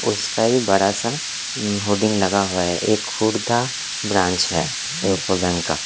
उसका ही बड़ा सा होडिंग लगा हुआ है ये खुद का ब्रांच है। का--